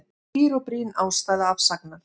Skýr og brýn ástæða afsagnar